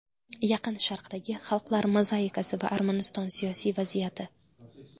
Yaqin Sharqdagi xalqlar mozaikasi va Armaniston siyosiy vaziyati.